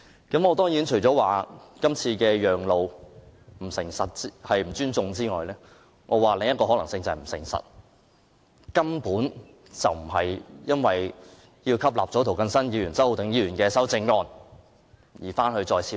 我除了認為政府今次讓路是不尊重議會之外，另一個可能是它不誠實，根本不是為了吸納涂謹申議員和周浩鼎議員的修正案再作處理。